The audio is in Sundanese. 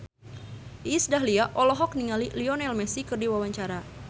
Iis Dahlia olohok ningali Lionel Messi keur diwawancara